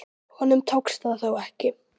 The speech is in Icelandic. Honum tókst það þó ekki.